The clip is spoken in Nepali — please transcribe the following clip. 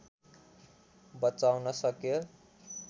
बचाउन सक्यो